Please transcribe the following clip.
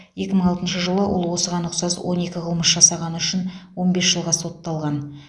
екі мың алтыншы жылы ол осыған ұқсас он екі қылмыс жасағаны үшін он бес жылға сотталған